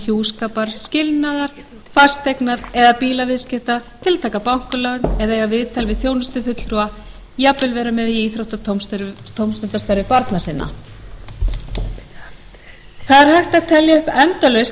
hjúskapar skilnaðar fasteigna eða bílaviðskipta til að taka bankalán eða eiga viðtal við þjónustufulltrúa jafnvel vera með í íþrótta og tómstundastarfi barna sinna það er hægt að telja upp endalaust í